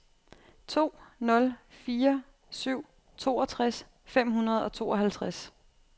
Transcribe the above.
to nul fire syv toogtres fem hundrede og tooghalvtreds